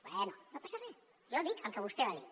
bé no passa re jo dic el que vostè va dir